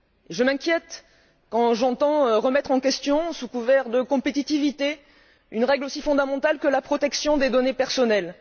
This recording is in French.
Je m'inquiète lorsque j'entends remettre en question, sous couvert de compétitivité, une règle aussi fondamentale que la protection des données personnelles.